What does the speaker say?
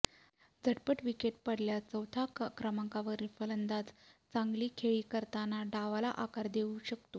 झटपट विकेट पडल्यास चौथ्या क्रमांकावरील फलंदाज चांगली खेळी करताना डावाला आकार देऊ शकतो